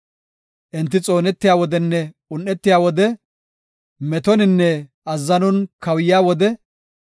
Enti xoonetiya wodenne un7etiya wode, metoninne azzanon kawuyiya wode,